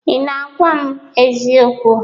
Ị na-agwa m eziokwu?